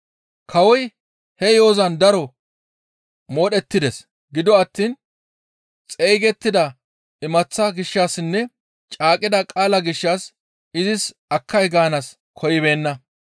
Kawoy he yo7ozan daro modhettides; gido attiin xeygettida imaththaa gishshassinne caaqqida qaalaa gishshas izis akkay gaanaas koyibeenna.